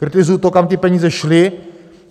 Kritizuji to, kam ty peníze šly.